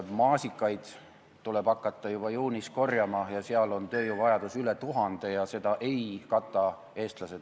Maasikaid tuleb hakata korjama juba juunis ja seal on tööjõuvajadus üle tuhande – seda ei kata eestlased.